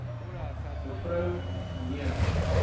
me m r